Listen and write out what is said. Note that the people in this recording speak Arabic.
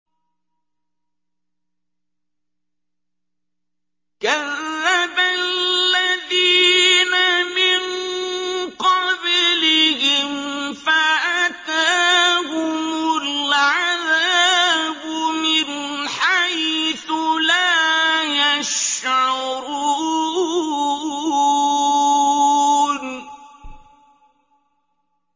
كَذَّبَ الَّذِينَ مِن قَبْلِهِمْ فَأَتَاهُمُ الْعَذَابُ مِنْ حَيْثُ لَا يَشْعُرُونَ